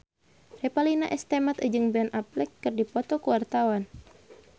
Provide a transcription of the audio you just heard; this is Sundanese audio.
Revalina S. Temat jeung Ben Affleck keur dipoto ku wartawan